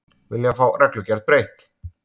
Vilja fá reglugerð breytt